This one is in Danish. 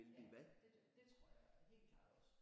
Ja det det tror det jeg helt klart også